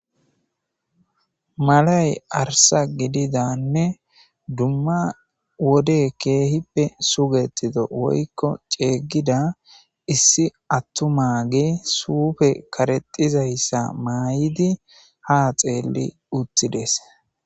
Malay arsa gididanne dumma wode keehippe sugetito woykko ceyggida issi attuma ge suufe karexizayssa maay'idi ha xeelli uthides.